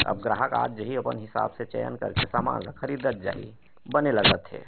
अब ग्राहक आत जाहि अपन हिसाब से चयन करके ख़रीदत जाहि बने लगत हे।